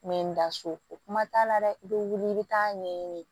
N bɛ n da so o kuma t'a la dɛ i bɛ wuli i bɛ taa ɲɛɲini